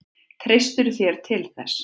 Treystirðu þér til þess?